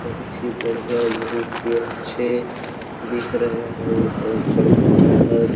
बहुत ही बढ़िया बहुत ही अच्छे दिख रहे है ये कंकर पत्थर।